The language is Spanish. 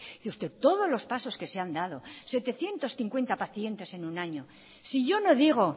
y usted todos los pasos que se han dado setecientos cincuenta pacientes en un año si yo no digo